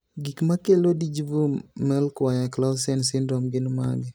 Gik makelo Dyggve Melchior Clausen syndrome gin mage?